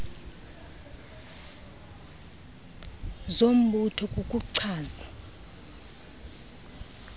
zombutho kuku chaza